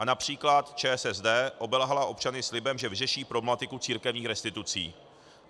A například ČSSD obelhala občany slibem, že vyřeší problematiku církevních restitucí.